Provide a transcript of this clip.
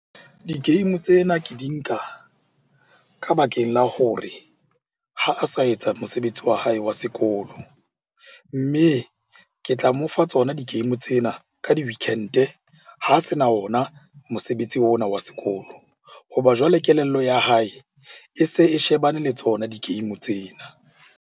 Di-game tsena ke di nka ka bakeng la hore ha a sa etsa mosebetsi wa hae wa sekolo. Mme ke tla mo fa tsona di- game tsena ka di-weekend-e ha se na ona mosebetsi ona wa sekolo. Hoba jwale kelello ya hae, e se e shebane le tsona di-game tsena.